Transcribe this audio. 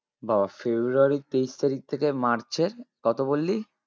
বাবাঃ february এর তেইশ তারিখ থেকে march এর কত বললি?